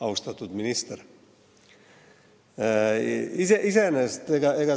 Austatud minister!